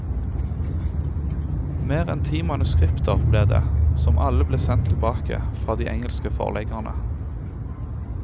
Mer enn ti manuskripter ble det, som alle ble sendt tilbake fra de engelske forleggerne.